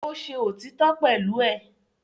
Ó ṣe òtítọ́ pẹ̀lú ẹ̀